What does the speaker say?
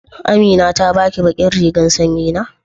Amina ta ba ki ɓaƙin rigan sanƴi na?